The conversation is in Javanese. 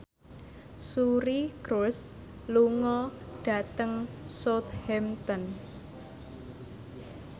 Suri Cruise lunga dhateng Southampton